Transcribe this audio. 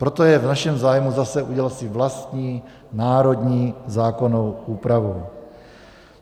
Proto je v našem zájmu zase udělat si vlastní, národní zákonnou úpravu.